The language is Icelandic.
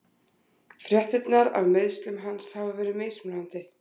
Fréttirnar af meiðslum hans hafa verið mismunandi.